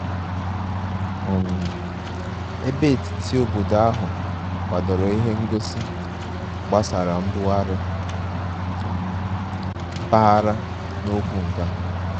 um Ebe etiti obodo ahụ kwadoro ihe ngosi gbasara mbugharị um mpaghara na okwu nka